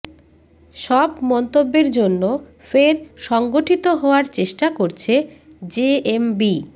সব মন্তব্যের জন্য ফের সংগঠিত হওয়ার চেষ্টা করছে জেএমবি